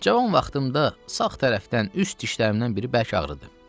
Cavan vaxtımda sağ tərəfdən üst dişlərimdən biri bərk ağrıdı.